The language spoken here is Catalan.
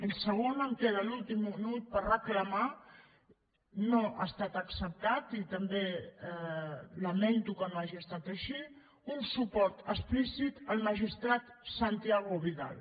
i segon em queda l’últim minut per reclamar no ha estat acceptat i també lamento que no hagi estat així un suport explícit al magistrat santiago vidal